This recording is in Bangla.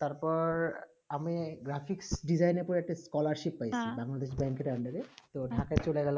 তার পর আমি graphic design এ তো একটা scholarship পায়ে ছিলাম হেঁ